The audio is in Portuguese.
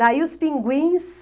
Daí os pinguins...